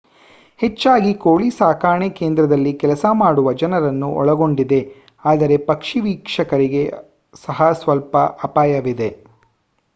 ಹೆಚ್ಚಾಗಿ ಕೋಳಿ ಸಾಕಾಣೆ ಕೇಂದ್ರದಲ್ಲಿ ಕೆಲಸ ಮಾಡುವ ಜನರನ್ನು ಒಳಗೊಂಡಿದೆ ಆದರೆ ಪಕ್ಷಿ ವೀಕ್ಷಕರಿಗೆ ಸಹ ಸ್ವಲ್ಪ ಅಪಾಯವಿದೆ